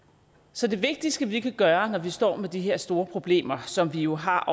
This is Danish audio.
så det vigtigste vi kan gøre når vi står med de her store problemer som vi jo har